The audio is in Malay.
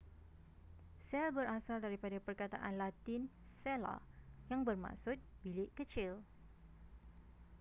sel berasal daripada perkataan latin cella yang bermaksud bilik kecil